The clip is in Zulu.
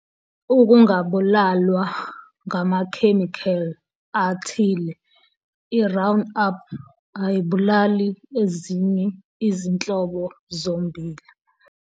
Ukungabulalwa ngamakhemikheli athile, i'round-up' ayibulali ezinye izinhlobo zommbila.